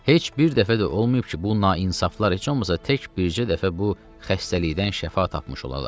Heç bir dəfə də olmayıb ki, bu naincaflar heç olmasa tək bircə dəfə bu xəstəlikdən şəfa tapmış olalar.